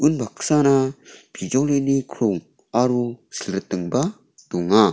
baksana bijolini krong aro silritingba donga.